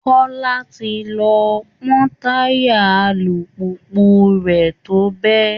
Kọ́lá ti lọ pọ́ táyà alùpùpù rẹ̀ tó bẹ́